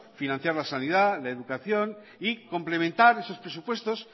financiar la sanidad la educación y complementar esos presupuestos